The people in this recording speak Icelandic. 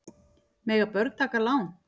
Mega börn taka lán?